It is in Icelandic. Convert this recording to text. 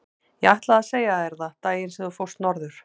Ég ætlaði að segja þér það daginn sem þú fórst norður.